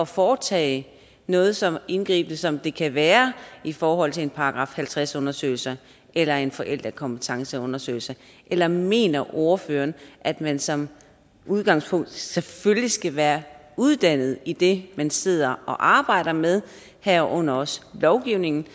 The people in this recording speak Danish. foretage noget så indgribende som det kan være i forhold til en § halvtreds undersøgelse eller en forældrekompetenceundersøgelse eller mener ordføreren at man som udgangspunkt selvfølgelig skal være uddannet i det man sidder og arbejder med herunder også lovgivningen